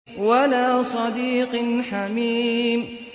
وَلَا صَدِيقٍ حَمِيمٍ